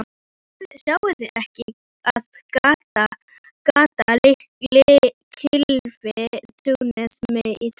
Sjáið þið ekki, að gatan klyfi túnið mitt í tvennt?